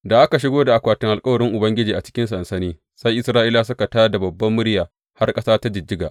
Da aka shigo da akwatin alkawarin Ubangiji a cikin sansani, sai Isra’ilawa suka tā da babbar murya har ƙasa ta jijjiga.